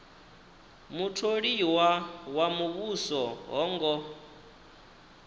mutholiwa wa muvhuso ho ngo